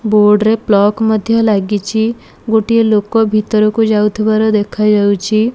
Board ରେ ପ୍ଲକ ମଧ୍ଯ ଲାଗିଛି। ଗୋଟିଏ ଲୋକ ଭିତରକୁ ଯାଉଥୁବାର ଦେଖାଯାଉଚି।